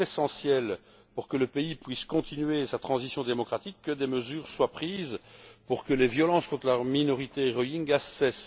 Il est essentiel, pour que le pays puisse continuer sa transition démocratique, que des mesures soient prises pour faire cesser les violences contre la minorité Rohingyas.